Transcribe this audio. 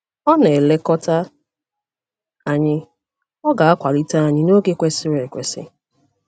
Ọ na - elekọta anyị, ọ ga - akwalite anyị n’oge kwesịrị ekwesị.